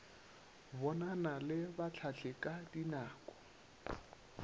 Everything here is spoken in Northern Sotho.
bonana le bahlahli ka dinako